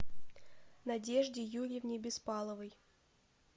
надежде юрьевне беспаловой